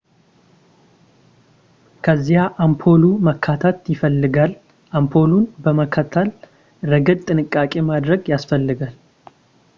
ከዚያ አምፖሉ መተካት ይፈልጋል አምፖሉን በመተካት ረገድ ጥንቃቄ ማድረግ ያስፈልጋል